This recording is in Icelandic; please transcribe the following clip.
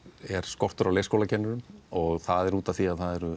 er skortur á leikskólakennurum það er út af því að það eru